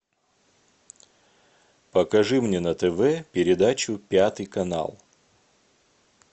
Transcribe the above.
покажи мне на тв передачу пятый канал